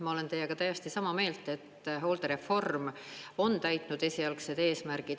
Ma olen teiega täiesti sama meelt, et hooldereform on täitnud esialgsed eesmärgid.